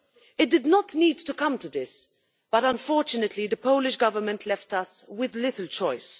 It did not need to come to this, but unfortunately the Polish Government left us with little choice.